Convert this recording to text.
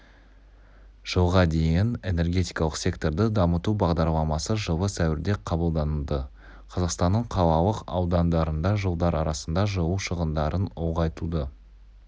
жылға дейін энергетикалық секторды дамыту бағдарламасы жылы сәуірде қабылданды қазақстанның қалалық аудандарында жылдар арасында жылу шығындарын ұлғайтуды